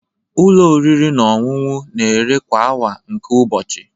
Ụlọ oriri na ọṅụṅụ na-ere kwa awa nke ụbọchị